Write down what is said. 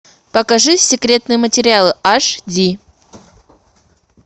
покажи секретные материалы аш ди